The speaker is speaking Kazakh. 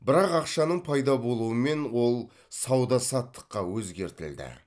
бірақ ақшаның пайда болуымен ол сауда саттыққа өзгертілді